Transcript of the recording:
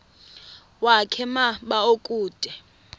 wakhe ma baoduke